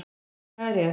Hvað er rétt?